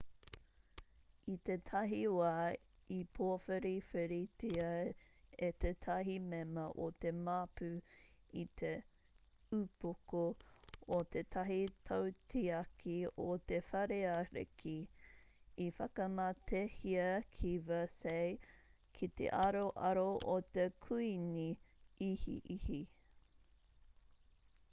i tētahi wā i pōwhiriwhiritia e tētahi mema o te māpu i te upoko o tētahi tautiaki o te whare ariki i whakamatehia ki versailles ki te aroaro o te kuīni ihiihi